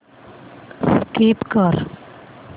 skip कर